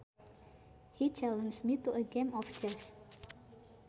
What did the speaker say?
He challenged me to a game of chess